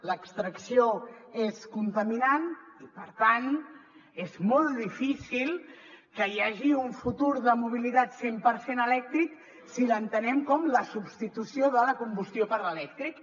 l’extracció és contaminant i per tant és molt difícil que hi hagi un futur de mobilitat cent per cent elèctric si l’entenem com la substitució de la combustió per l’elèctric